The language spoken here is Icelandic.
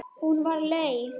Hún var leið.